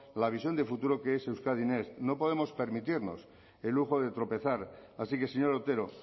la visión de futuro que es euskadi next no podemos permitirnos el lujo de tropezar así que señor otero